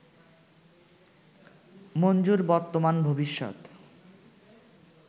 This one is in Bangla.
মঞ্জুর বর্তমান ভবিষ্যত